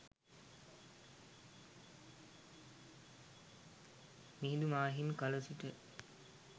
මිහිඳු මා හිමි කල සිට